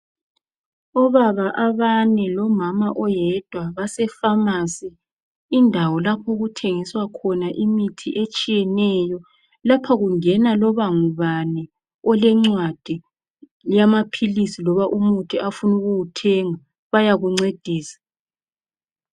Obaba abane lomama oyedwa base Famasi , indawo lapho okuthengiswa khona imithi etshiyeneyo. Lapho kungena loba ngubani elencwadi yamaphilisi loba umuthi afuna ukuwuthenga. Bayakuncedisa.